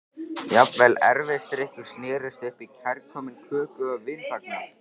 Jafnvel erfisdrykkjur snerust upp í kærkominn köku- og vinafagnað.